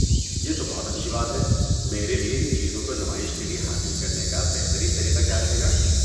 یہ تو بہت اچھی بات ہے۔ میرے لیے ان چیزوں کو نمائش کے لیے حاصل کرنے کا بہترین طریقہ کیا رہے گا؟